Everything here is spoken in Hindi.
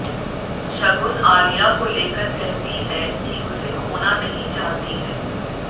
शगुन आलिया को लेकर कहती है कि उसे खोना नहीं चाहती है